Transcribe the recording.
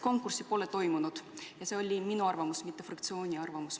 Konkurssi pole toimunud – ma rõhutan, et see on minu, mitte fraktsiooni arvamus.